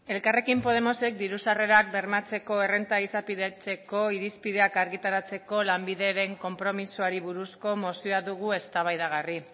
elkarrekin podemosek diru sarrerak bermatzeko errenta izapidetzeko irizpideak argitaratzeko lanbideren konpromisoari buruzko mozioa dugu eztabaidagarri